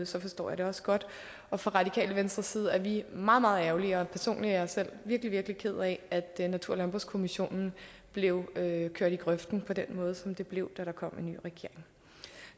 så forstår jeg det også godt og fra radikale venstres side er vi meget meget ærgerlige og personligt er jeg selv virkelig virkelig ked af at natur og landbrugskommissionen blev kørt i grøften på den måde som den blev da der kom en ny regering